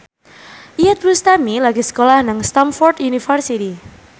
Iyeth Bustami lagi sekolah nang Stamford University